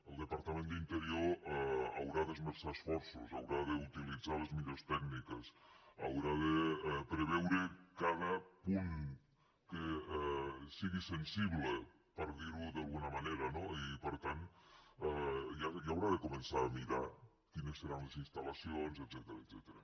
el departament d’interior hi haurà d’esmerçar esforços haurà d’utilitzar les millors tècniques haurà de preveure cada punt que sigui sensible per dirho d’alguna manera no i per tant ja haurà de començar a mirar quines seran les instal·lacions etcètera